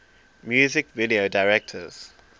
music video directors